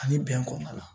Ani bɛn kɔnna